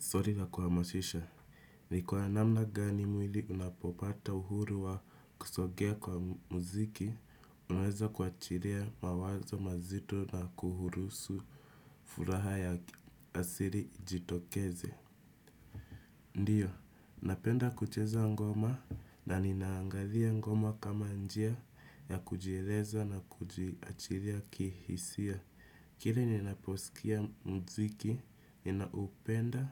Stori za kuhamashisha. Ni kwa namna gani mwili unapopata uhuru wa kusogea kwa muziki, unaweza kuachiria mawazo mazito na kuhurusu furaha ya asiri ijitokeze. Ndiyo, napenda kucheza ngoma na ninaangadhia ngoma kama njia ya kujieleza na kujiachiria kihisia. Kila ninaposikia mziki, ninaupenda,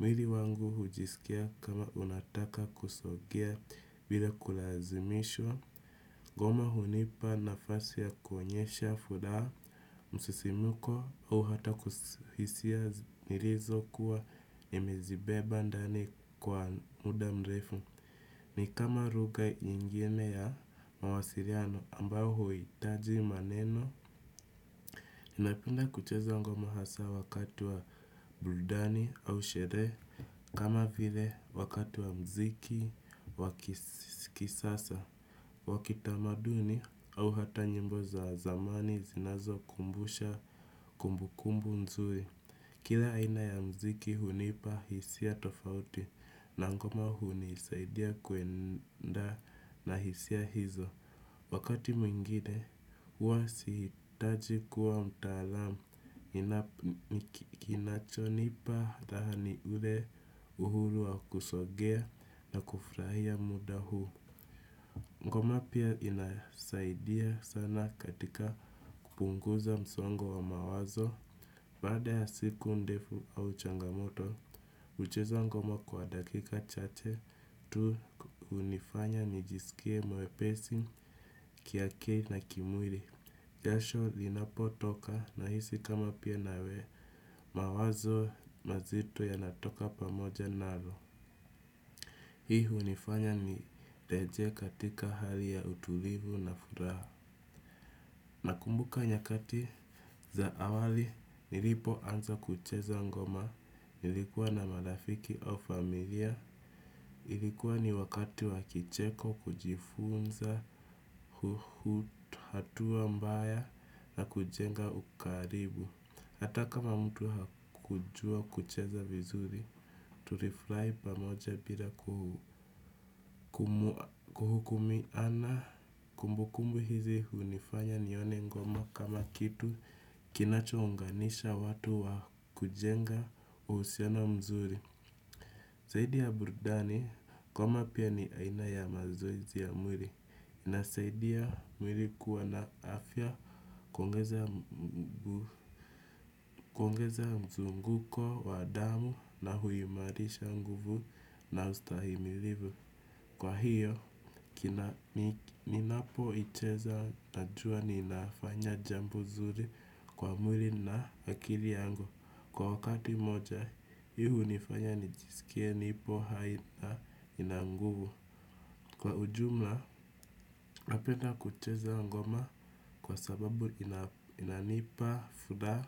mwili wangu hujisikia kama unataka kusogea bila kulazimishwa, goma hunipa nafasi ya kuonyesha, furaa, msisimuko au hata hisia nirizokuwa nimezibeba ndani kwa muda mrefu. Ni kama ruga ingine ya mawasiriano ambao huhitaji maneno. Ninapenda kucheza ngoma hasa wakati wa buldani au shere. Kama vile wakati wa mziki wa kisikisasa wa kitamaduni au hata nyimbo za zamani zinazokumbusha kumbukumbu nzuri. Kila aina ya mziki hunipa hisia tofauti. Na ngoma hunisaidia kuenda na hisia hizo. Wakati mwengine huwa sihitaji kuwa mtaalamu kinachonipa raha ni ule uhuru wa kusogea na kufurahia muda huu ngoma pia inasaidia sana katika kupunguza msongo wa mawazo. Baada ya siku ndefu au changamoto, hucheza ngoma kwa dakika chache tu hunifanya nijisikie mwepesi kiakili na kimwiri. Jasho linapotoka nahisi kama mawazo mazito yanatoka pamoja nalo. Hii hunifanya nirejee katika hali ya utulivu na furaha. Nakumbuka nyakati za awali nilipoanza kucheza ngoma nilikuwa na marafiki au familia. Ilikuwa ni wakati wa kicheko kujifunza hatua mbaya na kujenga ukaribu hata kama mtu hakujua kucheza vizuri tulifrai pamoja bila kuhukumiana. Na kumbukumbu hizi hunifanya nione ngoma kama kitu kinachounganisha watu wa kujenga uhusiano mzuri. Zaidi ya burdani ngoma pia ni aina ya mazoezi ya mwiri. Inasaidia mwili kuwa na afya kuongeza kuongeza mzunguko wa damu na huimarisha nguvu na ustahimilivu. Kwa hiyo, ninapoicheza najua ninafanya jambo zuri kwa mwiri na akiri yangu. Kwa wakati moja, hii hunifanya nijisikie nipo hai na nina nguvu. Kwa ujumla, napenda kucheza ngoma kwa sababu inanipa, furaha,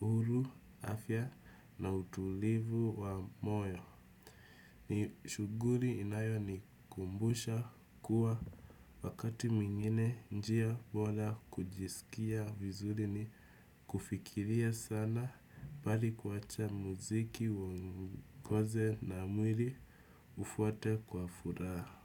uhuru, afya na utulivu wa moyo. Ni shughuri inayonikumbusha kuwa wakati mwingine njia bola kujisikia vizuri ni kufikiria sana bali kuwacha muziki uongoze na mwiri ufuate kwa furaha.